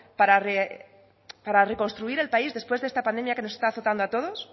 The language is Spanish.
para reconstruir el país después de esta pandemia que nos está faltando a todos